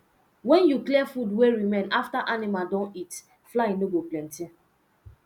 when you clear food wey remain after animal don eat fly no go plenty